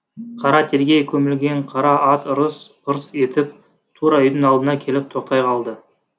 қара терге көмілген қара ат ырыс ырс етіп тура үйдің алдына келіп тоқтай қалды